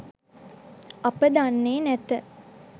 අප දන්නේ නැත.